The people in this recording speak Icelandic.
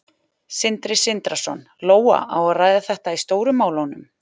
Sindri Sindrason: Lóa, á að ræða þetta í Stóru málunum?